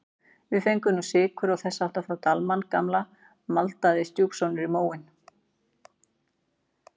Við fengum nú sykur og þess háttar frá Dalmann gamla maldaði stjúpsonurinn í móinn.